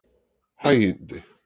Hægindi